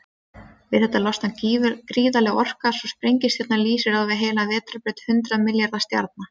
Við þetta losnar gríðarleg orka, svo sprengistjarnan lýsir á við heila vetrarbraut hundrað milljarða stjarna.